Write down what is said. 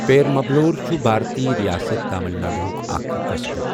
پیرمبلور چھُ بھارتی ریاست تامل ناڈوُک اکھ قصبہٕ۔